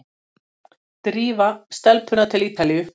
Drífa stelpuna til Ítalíu!